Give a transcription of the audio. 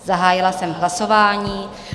Zahájila jsem hlasování.